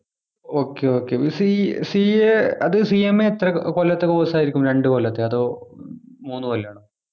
okay okay ഇത് C CA അത് CMA എത്ര കൊ കൊല്ലത്തെ course ആയിരിക്കും രണ്ടു കൊല്ലത്തെ അതോ മൂന്നു കൊല്ലാണോ